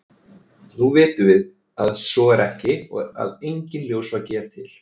nú vitum við að svo er ekki og að enginn ljósvaki er til